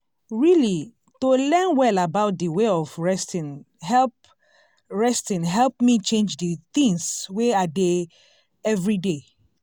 really to learn well about d way of resting help resting help me change d things wey i dey everyday.